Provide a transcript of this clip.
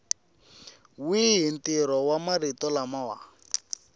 wihi ntirho wa marito lama